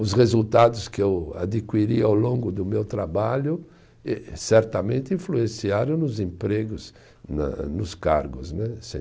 Os resultados que eu adquiri ao longo do meu trabalho eh certamente influenciaram nos empregos, na nos cargos, né, sem